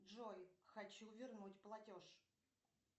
джой хочу вернуть платеж